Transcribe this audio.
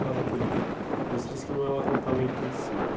Fora aquele que você disse que não é o acampamento em si né.